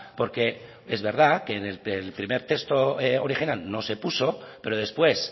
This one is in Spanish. porque es verdad que en el primer texto original no se puso pero después